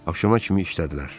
Axşama kimi işlədilər.